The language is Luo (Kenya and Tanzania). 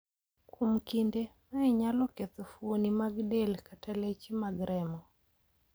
Kuom kinde, mae nyalo ketho fuoni mag del kata leche mag remo.